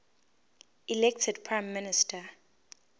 elected prime minister